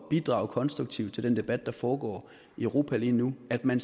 bidrage konstruktivt til den debat der foregår i europa lige nu at man